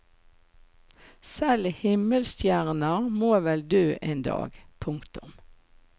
Selv himmelstjerner må vel dø en dag. punktum